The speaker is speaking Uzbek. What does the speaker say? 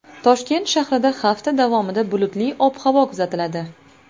Toshkent shahrida hafta davomida bulutli ob-havo kuzatiladi.